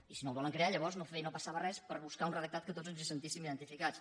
i si no el volen crear llavors no passa·va res per buscar un redactat que tots ens hi sentíssim identificats